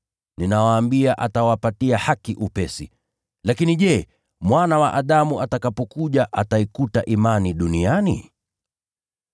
Ninawaambia, atawapatia haki upesi. Lakini je, Mwana wa Adamu atakapokuja ataikuta imani duniani?”